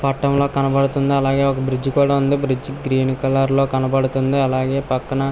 పటంలో కనబడుతుంది అలాగే ఒక బ్రిడ్జ్ కూడా ఉంది బ్రిడ్జ్ గ్రీన్ కలర్ లో కనబడుతుంది.